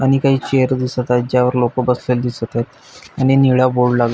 आणि काय चेअर दिसतयत ज्यावर लोक बसलेली दिसतयत आणि निळा बोर्ड लाग --